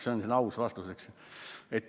See on aus vastus.